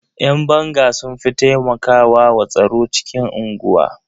Ƴan banga sun fi taimakwa wa tsaro cikin unguwa.